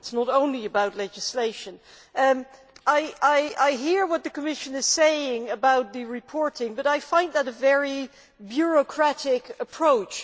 It is not only about legislation. I hear what the Commission is saying about the reporting, but I find that a very bureaucratic approach.